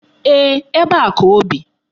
Ee, ebe a ka o bi.